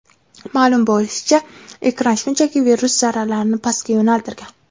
Ma’lum bo‘lishicha, ekran shunchaki virus zarralarini pastga yo‘naltirgan.